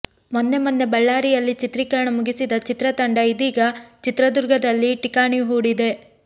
ಮೊನ್ನೆ ಮೊನ್ನೆ ಬಳ್ಳಾರಿಯಲ್ಲಿ ಚಿತ್ರೀಕರಣ ಮುಗಿಸಿದ ಚಿತ್ರತಂಡ ಇದೀಗ ಚಿತ್ರದುರ್ಗದಲ್ಲಿ ಠಿಕಾಣಿ ಹೂಡಿದೆ